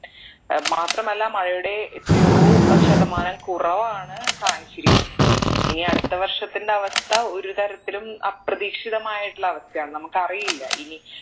ഏർ മാത്രമല്ല മഴയുടെ എത്രയോ ഏർ ശതമാനം കുറവാണ് കാണിച്ചിരിക്കുന്നത് ഇനി അടുത്ത വർഷത്തിന്റെ അവസ്ഥ ഒരു തരത്തിലും അപ്രതീക്ഷിതമായിട്ടുള്ള അവസ്ഥയാണ് നമ്മുക്ക് അറിയില്ല ഇനി